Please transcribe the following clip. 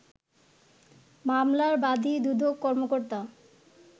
মামলার বাদি দুদক কর্মকর্তা